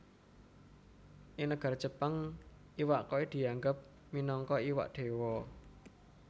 Ing nagara Jepang iwak koi dianggep minangka iwak Déwa